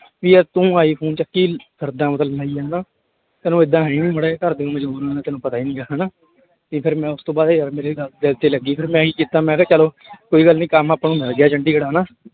ਵੀ ਯਾਰ ਤੂੰ ਆਈਫ਼ੋਨ ਚੱਕੀ ਫਿਰਦਾ ਮਤਲਬ ਲਈ ਹਨਾ ਤੈਨੂੰ ਏਦਾਂ ਹੈ ਹੀ ਨੀ ਮਾੜਾ ਜਿਹਾ ਘਰਦੇ ਤੈਨੂੰ ਪਤਾ ਹੀ ਨੀ ਗਾ ਹਨਾ, ਤੇ ਫਿਰ ਮੈਂ ਉਸ ਤੋਂ ਬਾਅਦ ਯਾਰ ਮੇਰੇ ਗੱਲ ਦਿਲ ਤੇ ਲੱਗੀ ਫਿਰ ਮੈਂ ਕੀ ਕੀਤਾ ਮੈਂ ਕਿਹਾ ਚਲੋ ਕੋਈ ਗੱਲ ਨੀ ਕੰਮ ਆਪਾਂ ਨੂੰ ਮਿਲ ਗਿਆ ਚੰਡੀਗੜ੍ਹ ਹਨਾ।